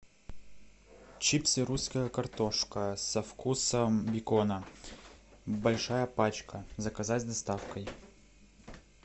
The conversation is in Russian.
чипсы русская картошка со вкусом бекона большая пачка заказать с доставкой